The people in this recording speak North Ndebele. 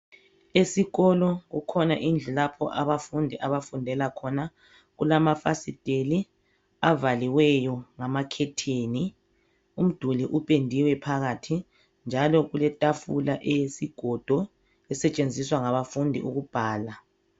Esikolo kukhona indlu lapho abafundi abafundela khona. Kulamafasiteli avaliweyo ngamakhetheni. Umduli upendiwe phakathi njalo kuletafula eyesigodo esetshenziswa ngabafundi ukubhala.